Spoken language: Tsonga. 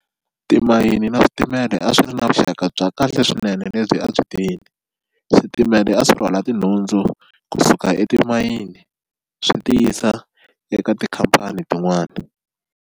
Timayini na switimela a swi ri na vuxaka bya kahle swinene lebyi a byi switimela a swi rhwala tinhundzu kusuka etimayini swi tiyisa eka tikhampani tin'wana.